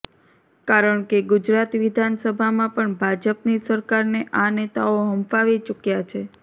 કારણ કે ગુજરાત વિધાનસભામાં પણ ભાજપની સરકારને આ નેતાઓ હંફાવી ચૂક્યા છે